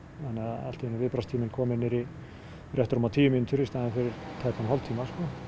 allt í einu er viðbragðstíminn kominn niður í rétt rúmar tíu mínútur í staðinn fyrir tæpan hálftíma